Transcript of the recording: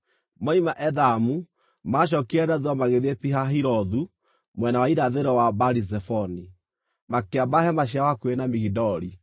Moima Ethamu, maacookire na thuutha magĩthiĩ Pi-Hahirothu, mwena wa irathĩro wa Baali-Zefoni, makĩamba hema ciao hakuhĩ na Migidoli.